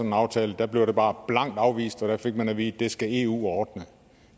en aftale og der blev det bare blankt afvist og man fik at vide at det skal eu ordne